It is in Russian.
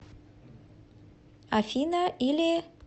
афина или